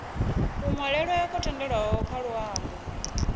kunwalele kwo tendelwaho kha luambo